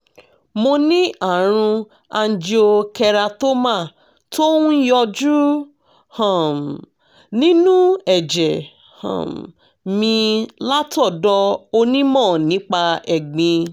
mo ní àrùn angiokeratoma tó ń yọjú um nínú ẹ̀jẹ̀ um mi látọ̀dọ̀ onímọ̀ nípa ẹ̀gbin